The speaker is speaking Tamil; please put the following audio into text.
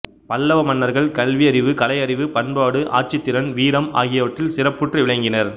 பல்லவ மன்னர்கள் கல்வி அறிவு கலையறிவு பண்பாடு ஆட்சித்திறன் வீரம் ஆகியவற்றில் சிறப்புற்று விளங்கினர்